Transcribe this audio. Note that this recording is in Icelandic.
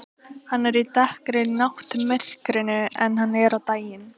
Hann er dekkri í náttmyrkrinu en hann er á daginn.